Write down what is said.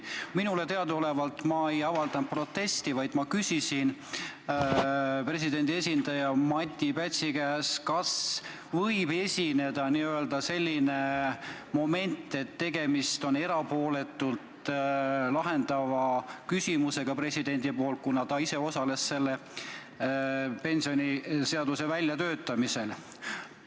Minule teadaolevalt ei avaldanud ma protesti, vaid küsisin presidendi esindaja Mati Pätsi käest, kas president saab seda küsimust lahendada erapooletult, kuna ta ise osales pensioniseaduse väljatöötamisel.